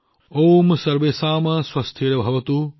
ওম সৰ্বেশম স্বস্তিৰভৱতু